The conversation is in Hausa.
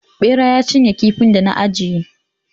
Ɓera ya cinye kifin da na ajiye